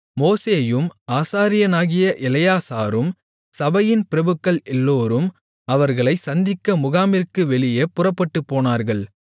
மோசேயும் ஆசாரியனாகிய எலெயாசாரும் சபையின் பிரபுக்கள் எல்லோரும் அவர்களைச் சந்திக்க முகாமிற்கு வெளியே புறப்பட்டுப்போனார்கள்